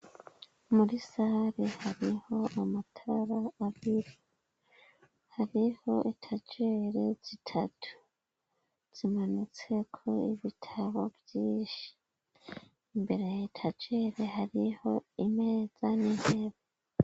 muri sare hariho amatara abira hariho itajere zitatu zimanutsko ibitabo vyinshi imbere itajere hariho imeza n'intebe